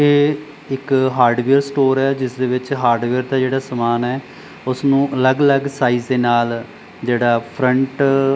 ਇਹ ਇੱਕ hardware store ਹੈ ਜਿਸਦੇ ਵਿੱਚ ਹਾਰਡਵੇਅਰ ਦਾ ਜਿਹੜਾ ਸਮਾਨ ਹੈ ਉਸਨੂੰ ਅਲੱਗ-ਅਲੱਗ ਸਾਇਜ ਦੇ ਨਾਲ ਜਿਹੜਾ ਫਰੰਟ --